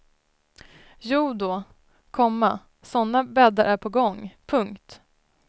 Jodå, komma sådana bäddar är på gång. punkt